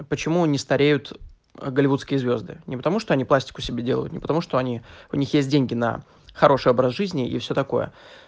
а почему не стареют голливудские звезды не потому что они пластику себе делаю потому что они у них есть деньги на хороший образ жизни и все такое